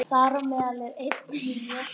Hann var eitthvað að minnast á það, jú.